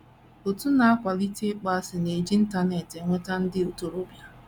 Òtù na - akwalite ịkpọasị na - eji Internet enweta ndị ntorobịa